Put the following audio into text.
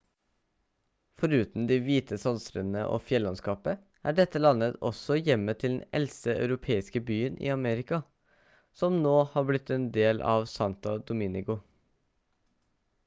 foruten de hvite sandstrendene og fjellandskapet er dette landet også hjemmet til den eldste europeiske byen i amerika som nå har blitt en del av santo domingo